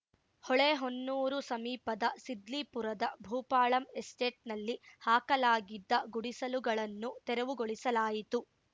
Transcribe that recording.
ಹೊಳೆಹೊನ್ನೂರು ಸಮೀಪದ ಸಿದ್ಲಿಪುರದ ಭೂಪಾಳಂ ಎಸ್ಟೇಟ್‌ನಲ್ಲಿ ಹಾಕಲಾಗಿದ್ದ ಗುಡಿಸಲುಗಳನ್ನು ತೆರವುಗೊಳಿಸಲಾಯಿತು